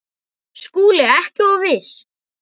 SKÚLI: Ekki of viss!